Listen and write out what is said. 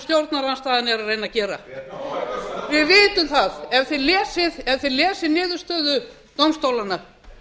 stjórnarandstaðan er að reyna að gera við vitum það ef þið lesið niðurstöðu dómstólanna